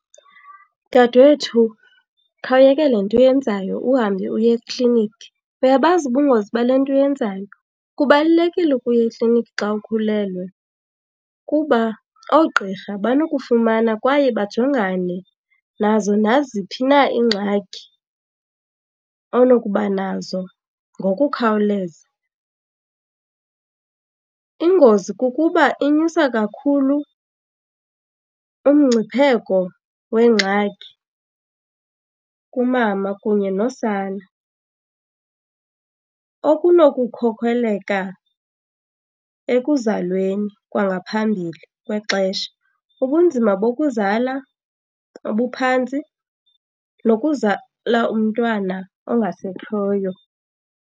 Dade wethu, khawuyeke le nto uyenzayo uhambe uye ekliniki. Uyabazi ubungozi bale nto uyenzayo? Kubalulekile ukuya ekliniki xa ukhulelwe kuba oogqirha banokufumana kwaye bajongane nazo naziphi na iingxaki onokuba nazo ngokukhawuleza. Ingozi kukuba inyusa kakhulu umgcipheko weengxaki kumama kunye nosana okunokukhokelela ekuzalweni kwangaphambili kwexesha, ubunzima bokuzala obuphantsi, nokuzala umntwana ongasekhoyo.